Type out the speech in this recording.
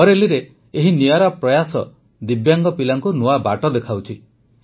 ବରେଲିରେ ଏହି ନିଆରା ପ୍ରୟାସ ଦିବ୍ୟାଙ୍ଗ ପିଲାଙ୍କୁ ନୂଆ ବାଟ ଦେଖାଉଛି